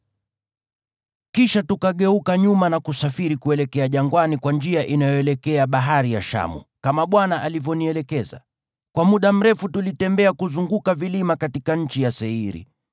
Kisha tukageuka nyuma na kusafiri kuelekea jangwani kwa njia inayoelekea Bahari ya Shamu, kama Bwana alivyonielekeza. Kwa muda mrefu tulitembea kuzunguka vilima katika nchi ya Seiri.